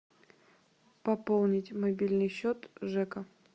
пополнить мобильный счет жека